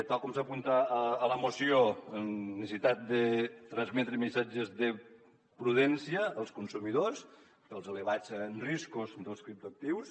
tal com s’apunta a la moció necessitat de transmetre missatges de prudència als consumidors pels elevats riscos dels criptoactius